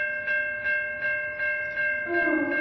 তোর